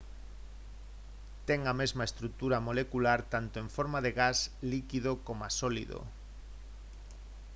ten a mesma estrutura molecular tanto en forma de gas líquido coma sólido